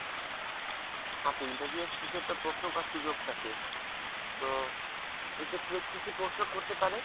আপু interview এর শেষে তো প্রশ্ন করার সুযোগ থাকে তো এক্ষেত্রে কি কি প্রশ্ন করতে পারে?